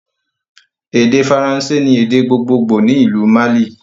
Èdè Faransé ni èdè gbogbogbo ni ìlú Mali